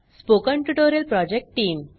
spoken tutorial project team